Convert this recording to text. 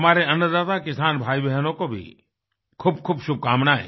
हमारे अन्नदाता किसान भाईबहनों को भी खूबखूब शुभकामनाएं